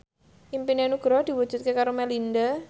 impine Nugroho diwujudke karo Melinda